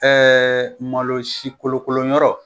malo si kolokoloyɔrɔ